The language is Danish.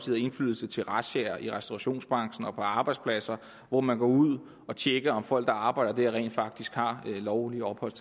havde indflydelse til razziaer i restaurationsbranchen og på arbejdspladser hvor man går ud og tjekker om folk der arbejder der rent faktisk har lovligt ophold